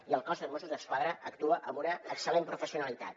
i el cos de mossos d’esquadra actua amb una excel·lent professionalitat